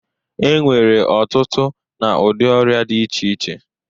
E nwere ọtụtụ na ụdị ọrịa dị iche iche.